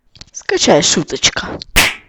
скачай шуточка